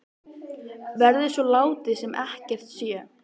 Verður svo látið sem ekkert sé?